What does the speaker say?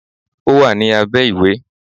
Ó wà ní abẹ́ ìwé.